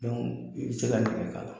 i bɛ se ka nɛgɛ k'a la